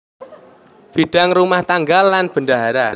Bidang rumah tangga lan bendahara